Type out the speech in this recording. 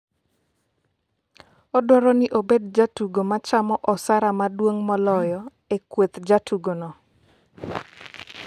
odwaro ni obed jatugo machamo osara maduong' moloyo e kweth jotugo'no